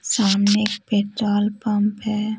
सामने एक petrol pump है।